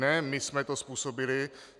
Ne, my jsme to způsobili.